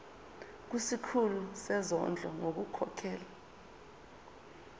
kusikhulu sezondlo ngokukhokhela